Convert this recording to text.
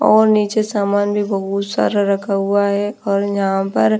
और नीचे सामान भी बहुत सारा रखा हुआ है और यहाँ पर --